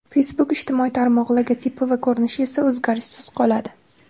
Facebook ijtimoiy tarmog‘i logotipi va ko‘rinishi esa o‘zgarishsiz qoladi.